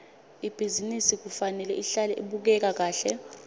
ibhizinisi kufanele ihlale ibukeka kahle